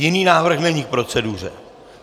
Jiný návrh není k proceduře?